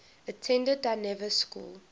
attended dynevor school